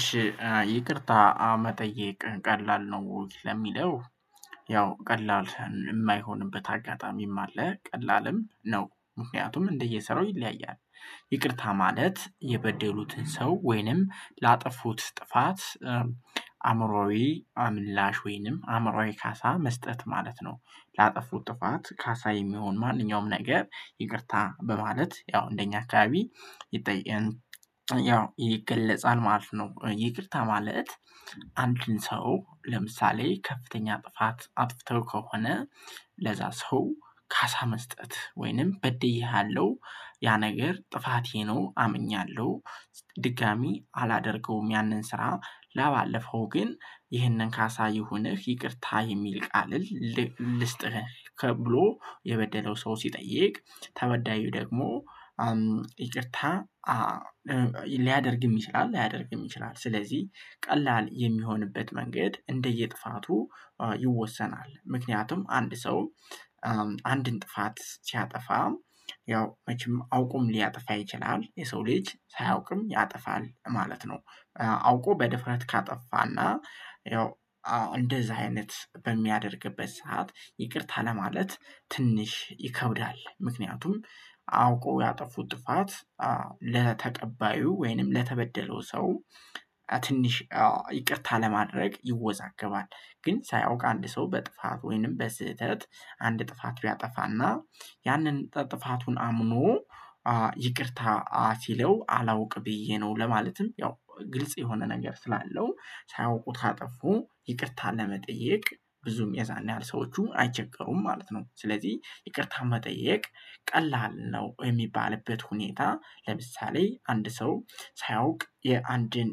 እሺ ይቅርታ መጠየቅ ቀላል ነው ወይ ለሚለው? ያው ቀላል የማይሆንበት አጋጣሚም አለ ቀላልም ነው ምክንያቱም እንደየሰራው ይለያያል። ይቅርታ ማለት የበደሉትን ሰው ወይንም ላጠፉት ጥፋት። አእምሮአዊ ምላሽ ወይንም አእምሮአዊ ካሳ መስጠት ማለት ነው። ላጠፉት ጥፋት ካሳ የሚሆን ማንኛውም ነገር ይቅርታ በማለት ያው እንደኛ አካባቢ ይጠየቅ ያው ይገለጻል ማለት ነው። ይቅርታ ማለት። አንድን ሰው ለምሳሌ ከፍተኛ ጥፋት አጥፍተው ከሆነ ለዛ ሰው ካሳ መስጠት ወይንም በድዬሃለሁ ያ ነገር ጥፋቴ ነው አምኛለሁ። ድጋሚ አላደርገውም ያንን ስራ ለባለፈው ግን ይህንን ካሳ ይሁንህ ይቅርታ የሚል ቃል ልስጥህ ብሎ የበደለው ሰው ሲጠይቅ ተበዳዩ ደግሞ ይቅርታ ሊያደርግም ይችላል ላያደርግም ይችላል። ስለዚህ ቀላል የሚሆንበት መንገድ እንደየጥፋቱ ይወሰናል። ምክንያቱም አንድ ሰው አንድን ጥፋት ሲያጠፋ ያው መቼም አውቆም ሊያጠፋ ይችላል የሰው ልጅ ሳያውቅም ያጠፋል ማለት ነው። አውቆ በድፍረት ካጠፋና ያው እንደዛ አይነት በሚያደርግበት ሰዓት ይቅርታ ለማለት ትንሽ ይከብዳል። ምክንያቱም አውቆ ያጠፉት ጥፋት ለተቀባዩ ወይንም ለተበደለው ሰው ትንሽ ይቅርታ ለማድረግ ይወዛገባል። ግን ሳያውቅ አንድ ሰው በጥፋት ወይንም በስህተት አንድ ጥፋት ቢያጠፋና ያንን ጥፋቱን አምኖ ይቅርታ አ ሲለው አላውቅ ብዬ ነው። ለማለትም ያው ግልጽ የሆነ ነገር ስላለው ሳያውቁት ካጠፉ ይቅርታ ለመጠየቅ ብዙም የዛን ያህል ሰዎቹም አይቸገሩም ማለት ነው። ስለዚህ ይቅርታ መጠየቅ ቀላል ነው። የሚባልበት ሁኔታ ለምሳሌ አንድ ሰው ሳያውቅ የአንድን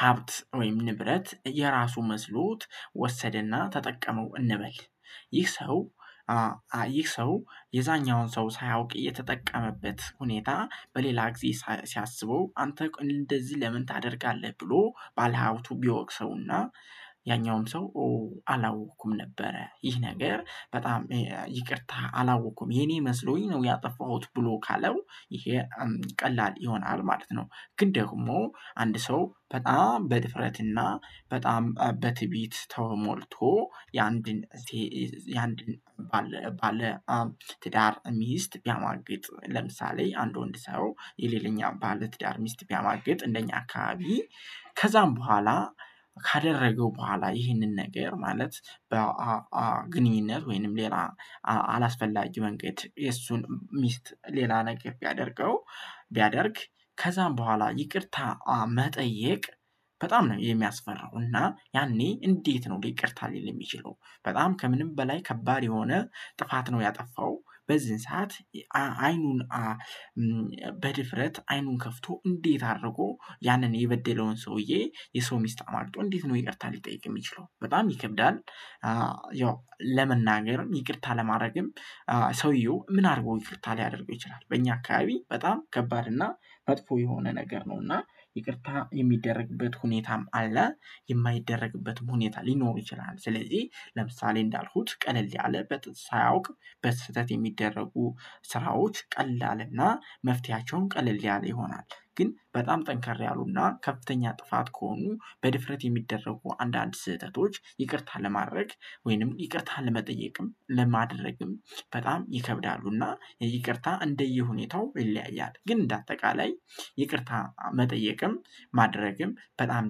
ሀብት ወይም ንብረት የራሱ መስሎት ወሰደና ተጠቀመው እንበል። ይህ ሰው ይህ ሰው የዛኛውን ሰው ሳያውቅ እየተጠቀመበት ሁኔታ በሌላ ጊዜ ሲያስበው አንተ እንደዚህ ለምን ታደርጋለህ? ብሎ ባለሀብቱ ቢወቅሰውና ያኛውም ሰው ኦ አላወቅኩም ነበረ ይህ ነገር በጣም ይቅርታ አላወቅኩም የኔ መስሎኝ ነው ያጠፋሁት ብሎ ካለው። ይሄ ቀላል ይሆናል ማለት ነው። ግን ደግሞ አንድ ሰው በጣም በድፍረትና በጣም በትዕቢት ተው ሞልቶ የአንድን የአንድን ባለ ባለ ትዳር ሚስት ቢያማግጥ ለምሳሌ የአንድ ወንድ ሰው የሌለኛ ባለትዳር ሚስት ቢያማግጥ እንደኛ አካባቢ ከዛም በኋላ ካደረገው በኋላ ይህንን ነገር ማለት በግንኙነት ወይንም ሌላ አላስፈላጊ መንገድ የእሱን ሚስት ሌላ ነገር ቢያደርገው ቢያደርግ ከዛም በኋላ ይቅርታ መጠየቅ በጣም ነው የሚያስፈራው። እና ያኔ እንዴት ነው ይቅርታ ሊል የሚችለው? በጣም ከምንም በላይ ከባድ የሆነ ጥፋት ነው። ያጠፋው በዚህን ሰዓት አይኑን በድፍረት አይኑን ከፍቶ እንዴት አድርጎ ያንን የበደለውን ሰውዬ የሰው ሚስት አማግጦ እንዴት ነው ይቅርታ ሊጠይቅ የሚችለው? በጣም ይከብዳል። ያው ለመናገርም ይቅርታ ለማድረግም ሰውየው ምን አድርጎ ይቅርታ ሊያደርገው ይችላል በእኛ አካባቢ በጣም ከባድ እና መጥፎ የሆነ ነገር ነው። እና ይቅርታ የሚደረግበት ሁኔታም አለ የማይደረግበትም ሁኔታ ሊኖር ይችላል። ስለዚህ ለምሳሌ እንዳልኩት ቀለል ያለበት በጥ ሳያውቅ በስህተት የሚደረጉ ስራዎች ቀላልና መፍትሄያቸውም ቀለል ያለ ይሆናል። ግን በጣም ጠንከር ያሉና ከፍተኛ ጥፋት ከሆኑ በድፍረት የሚደረጉ አንዳንድ ስህተቶች ይቅርታ ለማድረግ ወይንም ይቅርታ ለመጠየቅም ለማድረግም በጣም ይከብዳሉና ይቅርታ እንደየሁኔታው ይለያያል። ግን እንደ አጠቃላይ ይቅርታ መጠየቅም ማድረግም በጣም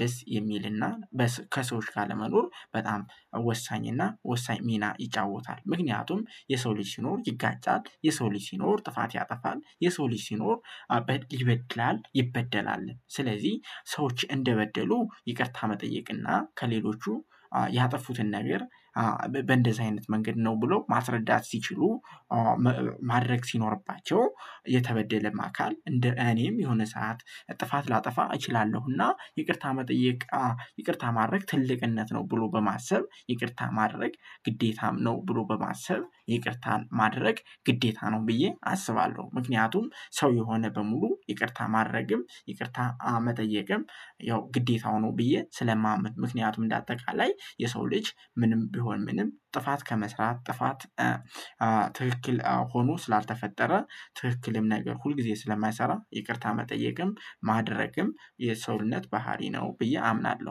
ደስ የሚልና በስ ከሰዎች ጋር ለመኖር በጣም ወሳኝና ወሳኝ ሚና ይጫወታል። ምክንያቱም የሰው ልጅ ሲኖር ይጋጫል የሰው ልጅ ሲኖር ጥፋት ያጠፋል የሰው ልጅ ሲኖር። ይበድላል ይበደላል ስለዚህ ሰዎች እንደበደሉ ይቅርታ መጠየቅና ከሌሎቹ ያጠፉትን ነገር። በእንደዚህ አይነት መንገድ ነው ብሎ ማስረዳት ሲችሉ። ማድረግ ሲኖርባቸው የተበደለም አካል እንደ እኔም የሆነ ሰዓት ጥፋት ላጠፋ እችላለሁና ይቅርታ መጠየቅ ይቅርታ ማድረግ ትልቅነት ነው። ብሎ በማሰብ ይቅርታ ማድረግ ግዴታም ነው ብሎ በማሰብ ይቅርታን ማድረግ ግዴታ ነው ብዬ አስባለሁ። ምክንያቱም ሰው የሆነ በሙሉ ይቅርታ ማድረግም ይቅርታ መጠየቅም ያው ግዴታው ነው። ብዬ ስለማመን ምክንያቱም እንደ አጠቃላይ የሰው ልጅ ምንም ቢሆን ምንም ጥፋት ከመስራት ጥፋት ትክክል ሆኖ ስላልተፈጠረ ትክክልም ነገር ሁልጊዜ ስለማይሰራ ይቅርታ መጠየቅም ማድረግም የሰውነት ባህሪ ነው። ብዬ አምናለሁ።